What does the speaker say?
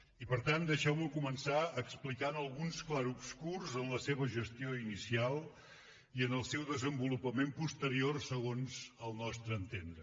i per tant deixeu me començar explicant alguns clarobscurs en la seva gestió inicial i en el seu desenvolupament posterior segons el nostre entendre